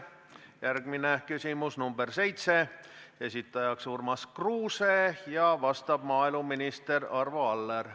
Järgmine küsimus, nr 7, esitaja on Urmas Kruuse ja vastab maaeluminister Arvo Aller.